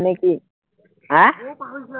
আহিবি নে কি, আহ